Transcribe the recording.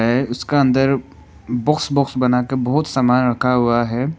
है उसका अंदर बॉक्स बॉक्स बना के बहुत सामान रखा हुआ है।